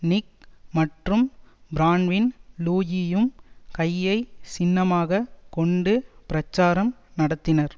நிக் மற்றும் பிரான்வின் லூயியும் கையை சின்னமாகக் கொண்டு பிரச்சாரம் நடத்தினர்